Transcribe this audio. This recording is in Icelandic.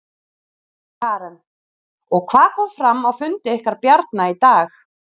Karen: Og hvað kom fram á fundi ykkar Bjarna í dag?